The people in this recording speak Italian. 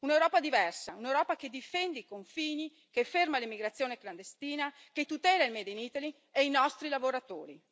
un'Europa diversa, un'Europa che difende i confini, che ferma l'immigrazione clandestina, che tutela il made in Italy e i nostri lavoratori.